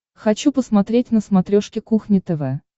хочу посмотреть на смотрешке кухня тв